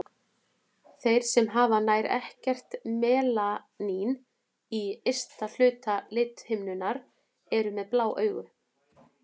Þeir sem hafa nær ekkert melanín í ysta hluta lithimnunnar eru með blá augu.